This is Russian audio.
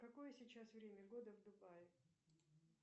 какое сейчас время года в дубае